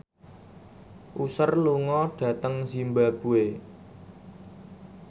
Usher lunga dhateng zimbabwe